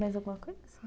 Mais alguma coisa?